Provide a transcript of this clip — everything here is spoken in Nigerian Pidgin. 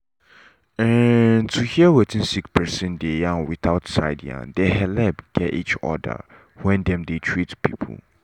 um to hear wetin sick person dey yarn without side yarn dey helep get each other when dem dey treat people.